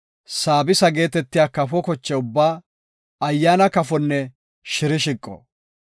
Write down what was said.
saabisa geetetiya kafo koche ubbaa, ayyaana kafonne shirshiqo.